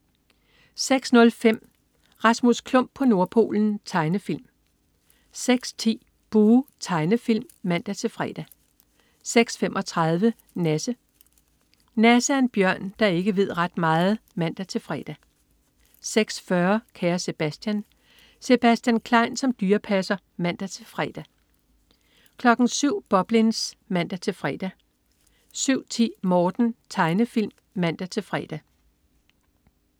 06.05 Rasmus Klump på Nordpolen. Tegnefilm 06.10 Buh! Tegnefilm (man-fre) 06.35 Nasse. Nasse er en bjørn, der ikke ved ret meget (man-fre) 06.40 Kære Sebastian. Sebastian Klein som dyrepasser (man-fre) 07.00 Boblins (man-fre) 07.10 Morten. Tegnefilm (man-fre)